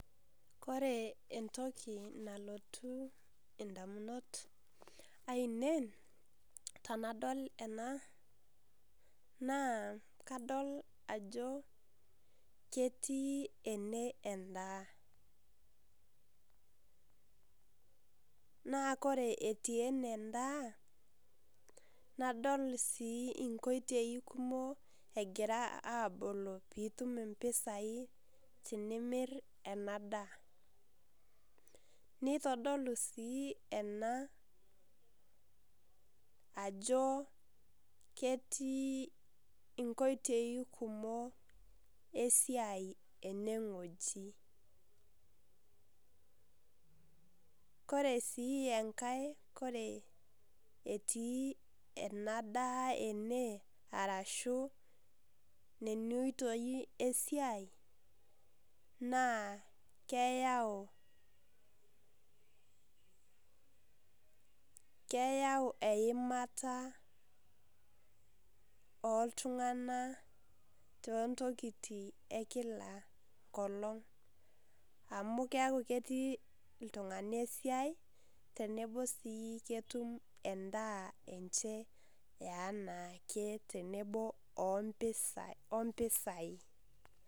Kore entokii nalotuu ndamunot aineen tanadol ena naa kadol ajoo ketii ene endaa, naa kore etii ene ndaa nadol sii eng'otei kumook egira aboloo piituum mpisai tinimiir ena ndaa. Neitodolu sii ena ajoo ketii eng'otei kumook esiai ene ng'oji. Kore sii enkaai kore etii ena ndaa ene arashu nenia utoei esiai naa keyau, keyau eimataa o ltung'ana to nkitii ekila nkolong' amu keaku ketii ltung'ani esiai teneboo sii ketuum endaa enchee enaake tenebo ompishai.